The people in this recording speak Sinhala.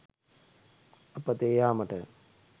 අපතේ යාමට